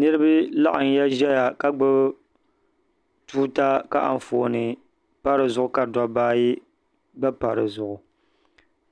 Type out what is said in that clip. niraba laɣamya ʒɛya ka gbubi tuuta ka Anfooni pa dizuɣu ka dabba ayi gba pa dizuɣu